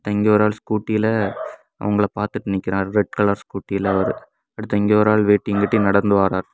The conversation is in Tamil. இங்க ஒரு ஆளு ஸ்கூட்டில அவுங்கள பாத்துட் நிக்கிறாரு ரெட் கலர் ஸ்கூட்டி அவரு அடுத்து இங்க ஒரு ஆள் வேட்டிங் கட்டி நடந்து வராரு.